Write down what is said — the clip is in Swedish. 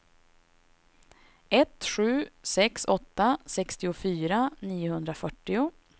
ett sju sex åtta sextiofyra niohundrafyrtio